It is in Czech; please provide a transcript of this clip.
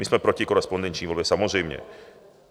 My jsme proti korespondenční volbě samozřejmě.